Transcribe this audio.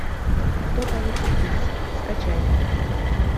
кто получит приз скачай